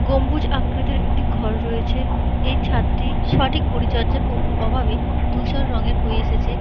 গম্বুজ আকৃতির একটি ঘর রয়েছে। এই ছাদটি সঠিক পরিচর্যার অ- অভাবে ধুসর রঙের হয়ে এসেছে।